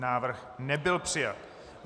Návrh nebyl přijat.